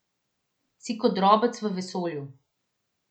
Si kot drobec v vesolju.